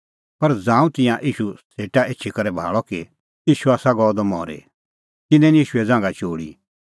पर ज़ांऊं तिंयां ईशू सेटा एछी करै भाल़अ कि ईशू आसा गअ द मरी तिन्नैं निं ईशूए ज़ांघा चोल़ी